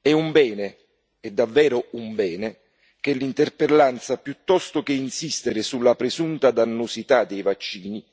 È un bene, è davvero un bene, che l'interpellanza, piuttosto che insistere sulla presunta dannosità dei vaccini,